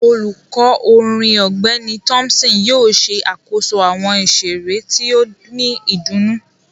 Olukọ orin Ọgbẹni Thompson yóò ṣe akoso awọn iṣere ti o ni idunnu